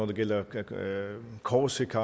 det gælder flandern korsika